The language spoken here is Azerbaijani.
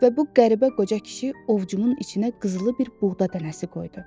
Və bu qəribə qoca kişi ovcumun içinə qızılı bir buğda dənəsi qoydu.